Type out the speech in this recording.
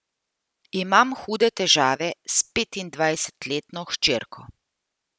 Imam hude težave s petindvajsetletno hčerko.